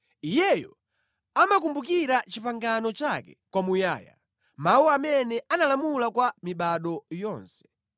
Iyeyo amakumbukira pangano lake kwamuyaya, mawu amene analamula kwa mibado yonse,